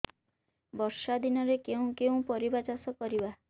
ବର୍ଷା ଦିନରେ କେଉଁ କେଉଁ ପରିବା ଚାଷ କରିବା